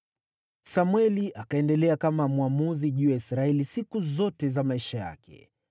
Samweli akaendelea kama mwamuzi juu ya Israeli siku zote za maisha yake.